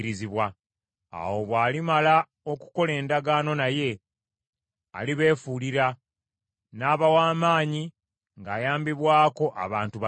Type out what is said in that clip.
Awo bw’alimala okukola endagaano naye, alibeefuulira, n’aba w’amaanyi ng’ayambibwako abantu batono.